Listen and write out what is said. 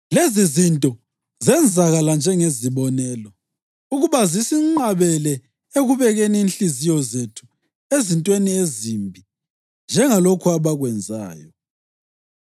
Lezizinto zenzakala njengezibonelo, ukuba zisinqabele ekubekeni inhliziyo zethu ezintweni ezimbi njengalokhu abakwenzayo.